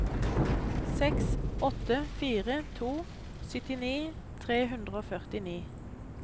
seks åtte fire to syttini tre hundre og førtini